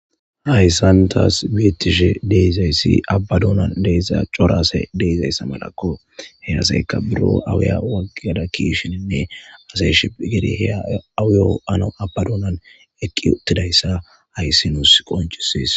Hayssan thaas beeththishe de7izayssi abba doonan de7iza cora asey de7izayssa malakko; he asayka biro awiya ho7uawu kiyada kiishininne asay shiphphi gede he awiyoo ho7anawu abba doonan eqqi oththidayssa hayssi nuus qonccissees.